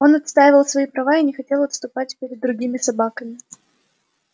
он отстаивал свои права и не хотел отступать перед другими собаками